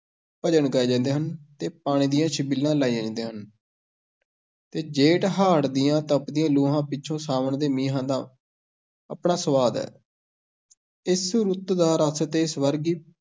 ਭਜਨ ਗਾਏ ਜਾਂਦੇ ਹਨ ਅਤੇ ਪਾਣੀ ਦੀਆਂ ਛਬੀਲਾਂ ਲਾਈਆਂ ਜਾਂਦੀਆਂ ਹਨ ਤੇ ਜੇਠ-ਹਾੜ੍ਹ ਦੀਆਂ ਤਪਦੀਆਂ ਲੂਆਂ ਪਿੱਛੋਂ ਸਾਵਣ ਦੇ ਮੀਂਹਾਂ ਦਾ ਆਪਣਾ ਸੁਆਦ ਹੈ ਇਸ ਰੁੱਤ ਦਾ ਰਸ ਤੇ ਸਵਰਗੀ